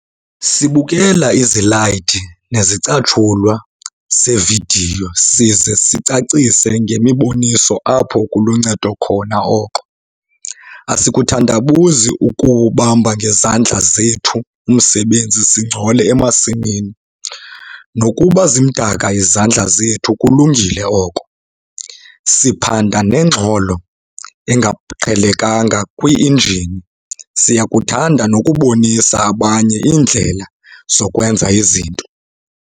Sibukela izilayidi nezicatshulwa zevidiyo size sicacise ngemiboniso apho kuluncedo khona oko. Asikuthandabuzi ukuwubamba ngezandla zethu umsebenzi singcole emasimini nokuba zimdaka izandla zethu kulungile oko, siphanda nengxolo engaqhelekanga kwi-injini - siyakuthanda nokubonisa abanye iindlela zokwenza izinto!